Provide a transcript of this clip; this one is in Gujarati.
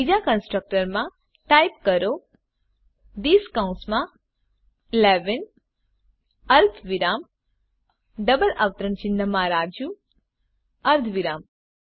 બીજા કન્સ્ટ્રકટર માં ટાઈપ કરો થિસ કૌંસમાં 11 અલ્પવિરામ ડબલ અવતરણ ચિહ્નમાં રાજુ અર્ધવિરામ